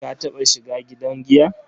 Ka taɓa shiga gidan giya?